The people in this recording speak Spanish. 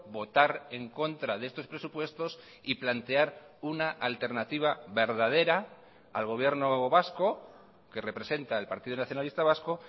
votar en contra de estos presupuestos y plantear una alternativa verdadera al gobierno vasco que representa el partido nacionalista vasco